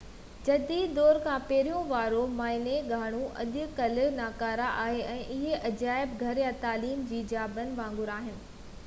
جديد دور کان پهرين واريون معائني گاهون اڄ ڪلهہ ناڪارا آهن ۽ اهي عجائب گهر يا تعليم جي جاين وانگر آهن